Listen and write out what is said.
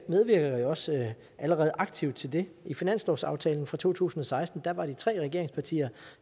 medvirker jo også allerede aktivt til det i finanslovsaftalen for to tusind og seksten var de tre regeringspartier